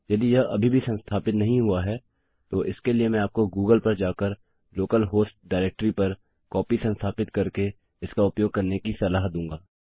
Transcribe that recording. यदि यह अभी भी संस्थापित नहीं हुआ है तो इसके लिए मैं आपको गूगल पर जाकर लोकल हॉस्ट डाइरेक्टरी पर कॉपी संस्थापित करके इसका उपयोग करने की सलाह दूँगा